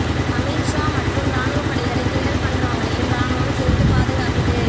அமித் ஷா மற்றும் ராணுவப்படைகளைக் கிண்டல் பண்ணுறவங்களையும் ராணுவம் சேர்த்துப் பாதுகாக்குது